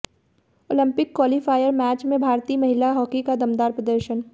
Olympic qualifier match में भारतीय महिला हॉकी का दमदार प्रदर्शन